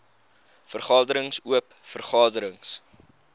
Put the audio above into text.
vergaderings oop vergaderings